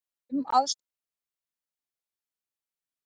Fimm aðstoðarmenn komu og gripu um Jón Ólaf.